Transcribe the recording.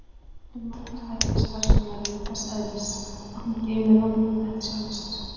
En margir þættir starfs hennar eru þess eðlis að hún geymir þá með sjálfri sér.